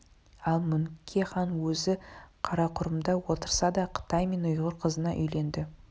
ал мөңке хан өзі қарақұрымда отырса да қытай мен ұйғыр қызына үйленді